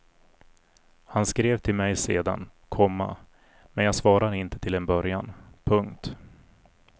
Han skrev till mig sedan, komma men jag svarade inte till en början. punkt